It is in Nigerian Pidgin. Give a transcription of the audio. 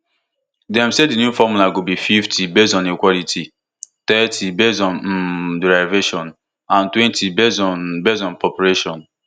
dem say di new formula go be fifty based on equality thirty based on um derivation and twenty based on based on population